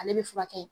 Ale bɛ furakɛ